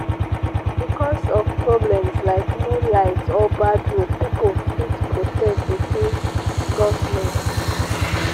bicos of problems like no light or bad road pipo fit protest against government